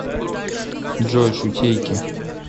джой шутейки